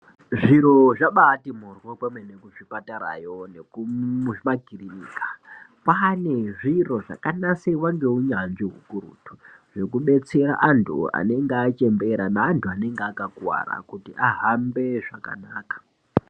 Zviro zvabaati moryo kwemene kuzvipatarayo nekumakirinika Kwane zviro zvakanasirwa ngeunyanzvi ukurutu zvekudetsera antu anenge achembera neanhu anenge akakuwara kuti ahambe zvakanaka.